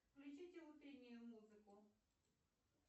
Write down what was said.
включите утреннюю музыку